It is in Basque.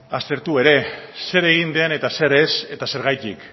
aztertu ere zer egin den eta zer ez eta zergatik